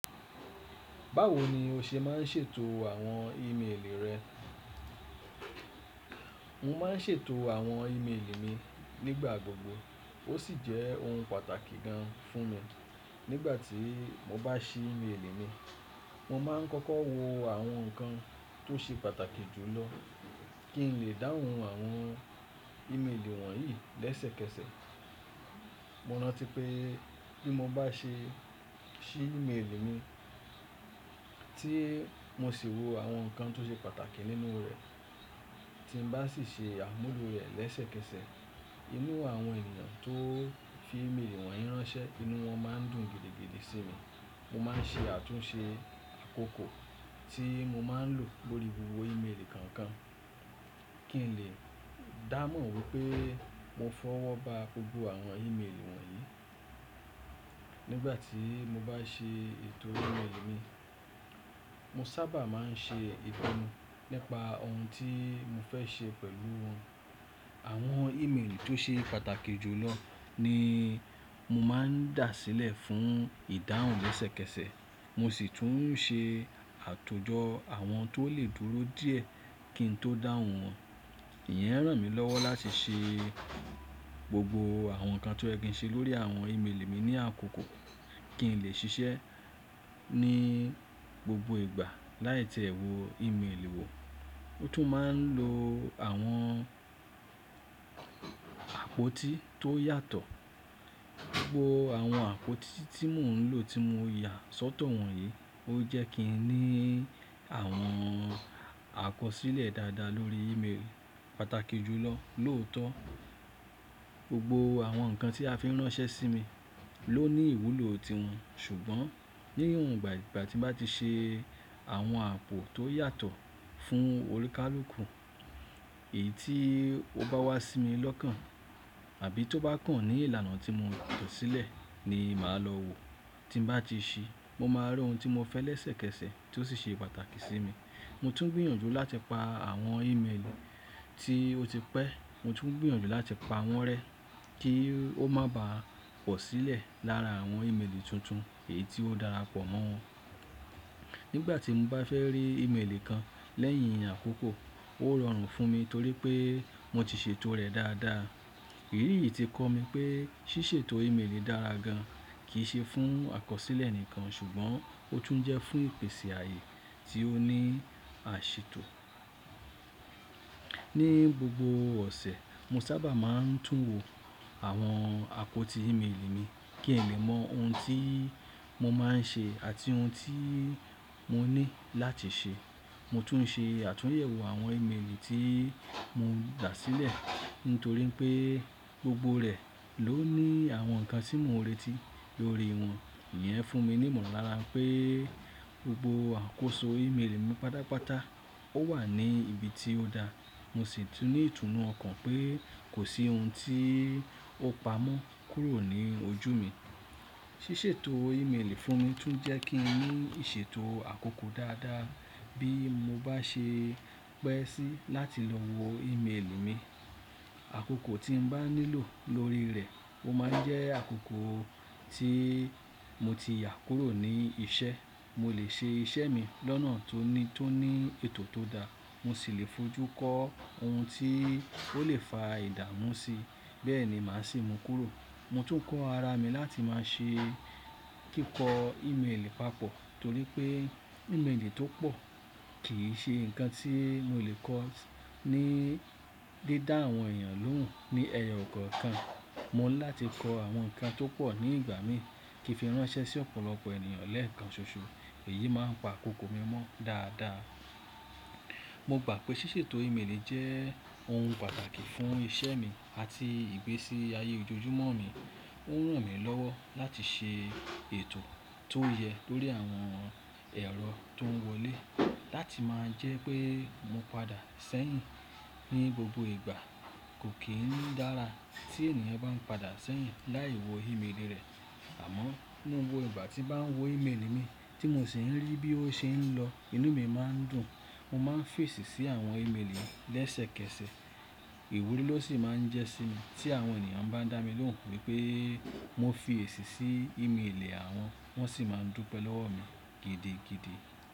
Báwo ni o ṣe máa ń ṣètò àwọn ímeèlì rẹ? Mo máa ń ṣètò àwọn ímeèlì mi nígbà gbogbo, ó sì jẹ́ ohun pàtàkì gan fún mi. Nígbà tí mo bá ṣí ímeèlì mi, mo máa ń kọ́kọ́ wo àwọn nǹkan tó ṣe pàtàkì jù lọ kí n lè dáhùn àwọn ímeèlì wọ̀nyí lẹ́sẹ̀kẹsẹ̀. Mo rántí pé bí mo bá ṣe ṣí ímeèlì mi tí mo sì wo àwọn nǹkan tó ṣe pàtàkì nínú rẹ̀ tí mo bá sì ṣe àmúlò rẹ̀ lẹ́sẹ̀kẹsẹ̀, inú àwọn ènìyàn tó fi ímeèlì wọ̀nyí ránṣẹ́, inú wọn máa ń dùn gidigidi sí mi. Mo máa ń ṣe àtúnṣe àkókò tí mo máa ń lò lórí wíwo ímeèlì kankan kí n lè dá mọ̀ wípé mo fọwọ́ ba gbogbo àwọn ímeèlì wọ̀nyí. Nígbà tí mo bá ṣe ètò ímeèlì mi, mo sábà máa ń ṣe ìtẹnu nípa oun tí mo fẹ́ ṣe pẹ̀lú wọn. Àwọn ímeèlì tó ṣe pàtàkì jù lọ ni mo máa ń dà sílẹ̀ fún ìdáhùn lẹ́sẹ̀kẹsẹ̀, mo sì tún ń ṣe àtòjọ àwọn tó lè dúró díẹ̀ kí n tó dáhùn wọn. Ìyẹn ràn mí lọ́wọ́ láti ṣe gbogbo àwọn nǹkan tó yẹ kí n ṣe lórí àwọn ímeèlì mi ní àkókò kí n lè ṣiṣẹ́ ní gbogbo ìgbà láì tẹ́ ẹ wò ímeèlì wo. Ó tún máa ń lo àwọn àpótí tó yàtọ̀. Gbogbo àwọn àpótí tí mò ń lò tí mo yà sọ́tọ̀ wọ̀nyí, ó jẹ́ kí n ní àwọn àkọsílẹ̀ dáadáa lórí ímeèlì pàtàkì jù lọ lóòótọ́. Gbogbo àwọn nǹkan tí a fi ń ránṣẹ́ sí mi ló ní ìwúlò tiwọn ṣùgbọ́n ní ìhun gbà ìgbà tí mo bá ti ṣe àwọn àpò tó yàtọ̀ fún olùkalukù, èyí tí ó bá wá sí mi lọ́kàn àbí tó bá kàn ní ìlànà tí mo tọ́ sílẹ̀ ni màá lọ wo. Tí mo bá ti ṣí, mo máa rí ohun tí mo fẹ́ lẹ́sẹ̀kẹsẹ̀ tí ó sì ṣe pàtàkì sí mi. Mo tún gbìyànjú láti pa àwọn ímeèlì tí ó ti pẹ́, mo tún ń gbìyànjú láti pa wọ́n rẹ́ kí ó má bàa pọ̀ sílẹ̀ lára àwọn ímeèlì tuntun èyí tí ó dára pọ̀ mọ́ wọn. Nígbà tí mo bá fẹ́ rí ímeèlì kan lẹ́yìn àkókò, ó rọrùn fún mi torí pé mo ti ṣètò rẹ̀ dáadáa. Èyí yìí ti kọ́ mi pé ṣíṣètò ímeèlì dára gan, kì í ṣe fún àkọsílẹ̀ nìkan ṣùgbọ́n ó tún jẹ́ fún ìpèsè ààyè tí ó ní àṣètò. Ní gbogbo ọ̀sẹ̀, mo sábà máa ń tún wo àwọn àpótí ímeèlì mi kí lè mọ oun tí mo máa ń ṣe àti ohun tí mo ní láti ṣe. Mo tún ń ṣe àtúnyẹ̀wò àwọn ímeèlì tí mo dà sílẹ̀ nítorí pé gbogbo rẹ̀ ló ní àwọn nǹkan tí mò ń retí lórí wọn. Ìyẹn fún mi ní ìmọ̀lára pé gbogbo àkóso ímeèlì mi pátápátá ó wà ní ibi tí ó dá. Mo sì tú ní ìtùnú ọkàn pé kò sí oun tí ó pa mọ́ kúrò ní ojú mi. Ṣíṣètò ímeèlì fún mi tún jẹ́ kí n ní ìṣètò àkókò dáadáa bí mo bá ṣe pẹ́ sí láti lọ wo ímeèlì mi. Àkókò tí mo bá nílò lórí rẹ̀ ó máa ń jẹ́ àkókò tí mo ti yà kúrò ní iṣẹ́. Mo lè ṣe iṣẹ́ mi lọ́nà tó ní, tó ní ètò tó da, mo sì lè fojú kó oun tí ó lè fa ìdààmú sí. Bẹ́ẹ̀ ni màá sì mú kúrò. Mo tún kọ́ ara mi láti máa ṣe kíkọ ímeèlì papọ̀ torí pé ímeèlì tó pọ̀ kì í ṣe nǹkan tí mo lè kọ́ ní dídá àwọn ènìyàn lóhùn. Ní ẹyọ ọ̀kọ̀ọ̀kan, mo ní láti kọ àwọn nǹkan tó pọ̀ ní ìgbà mi kí fi ránṣẹ́ sí ọ̀pọ̀lọpọ̀ ènìyàn lẹ́ẹ̀kan ṣoṣo. Èyí máa ń pa àkókò mi mọ́ dáadáa. Mo gbà pé ṣíṣètò ímeèlì jẹ́ oun pàtàkì fún iṣẹ́ mi àti ìgbésí ayé ojoojúmọ́ mi. Ó ń ràn mí lọ́wọ́ láti ṣe ètò tó yẹ lórí àwọn ẹ̀rọ tó ń wọlé láti máa jẹ́ pé mo padà sẹ́yìn ní gbogbo ìgbà. Kò kín dára tí ènìyàn bá ń padà sẹ́yìn láì wò ímeèlì rẹ̀ àmọ́ ní gbogbo ìgbà tí mo bá ń wo ímeèlì mi tí mo sì ń rí bí ó ṣe ń lọ, inú mi máa ń dùn. Mo máa ń fèsì sí àwọn ímeèlì lẹ́sẹ̀kẹsẹ̀. Ìwúrí ló sì máa ń jẹ́ sí mi tí àwọn ènìyàn bá ń dá mi lóhùn wípé mo fi èsì sí ímeèlì àwọn, wọ́n sì máa ń dùpe lọ́wọ́ mi gidigidi.